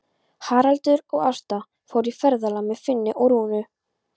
Haraldur og Ásta fóru í ferðalag með Finni og Rúnu.